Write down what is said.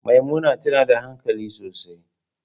Maimuna tana da hankali sosai.